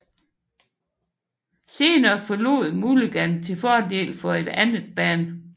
Senere forlod Mulligan til fordel for et andet band